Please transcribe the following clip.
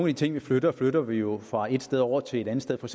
de ting vi flytter flytter vi jo fra et sted over til et andet sted for